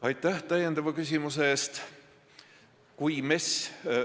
Aitäh täiendava küsimuse eest!